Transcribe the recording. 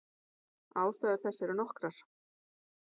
Ástæður þess eru nokkrar.